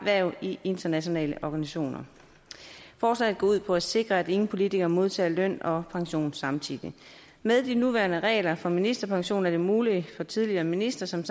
hverv i internationale organisationer forslaget går ud på at sikre at ingen politikere modtager løn og pension samtidig med de nuværende regler for ministerpension er det muligt for tidligere ministre som